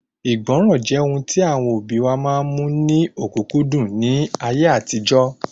Ìgbọràn jẹ́ ohun tí àwọn òbí wa mú ní ọ̀kúnkúndùn ní ayé àtijọ́